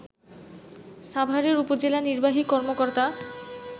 সাভারের উপজেলা নির্বাহী কর্মকর্তা